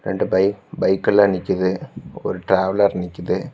ரெண்டு bike bike எல்லா நிக்குது ஒரு டிராவலர் நிக்குது.